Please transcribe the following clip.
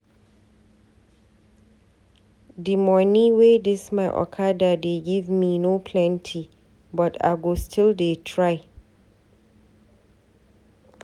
Di moni wey dis my okada dey give me no plenty but I go still dey try.